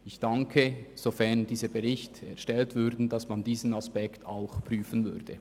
Ich wäre dankbar für die Prüfung dieses Aspekts, sofern ein Bericht erstellt wird.